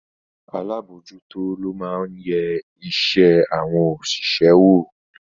Alábòójútó lo máa ń yẹ iṣẹ́ àwọn òṣìṣẹ́ wò